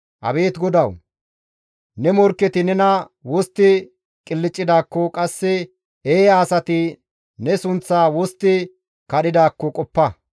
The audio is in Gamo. Abeet GODAWU! Ne morkketi ne bolla wostti qilccidaakko, qasse eeya asati ne sunththaa wostti kadhidaakko qoppa.